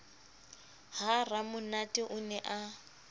ha ramonate o ne a